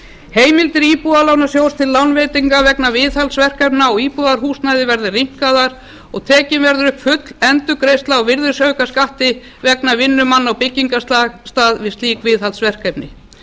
heimildir íbúðalánasjóðs til lánveitinga vegna viðhaldsverkefna á íbúðarhúsnæði verða rýmkaðar og tekin verður upp full endurgreiðsla á virðisaukaskatti vegna vinnu manna á byggingarstað við slík viðhaldsverkefni